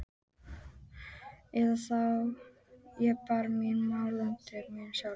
Eða þá ég ber mín mál undir biskup sjálfan!